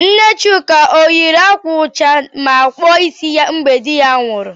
Nne Chuka ọ yiri ákwà ụcha ma kpụọ ịsị ya mgbe dị ya nwụrụ?